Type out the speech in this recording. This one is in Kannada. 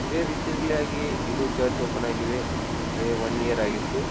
ಇದೆ ರೀಸೆಂಟ್ಲಿ ಯಾಗಿ ಇದು ಚರ್ಚ್ ಓಪನ್ ಆಗಿದೆ. ಅಂದ್ರೆ ವನ್ ಇಯರ್ ಆಗಿತ್ತು.